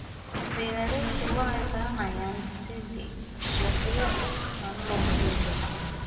Beeraleydu waxay baranayaan sidii suuqyo caano loogu heli lahaa.